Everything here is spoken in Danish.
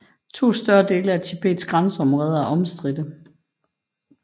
To større dele af Tibets grænseområder er omstridte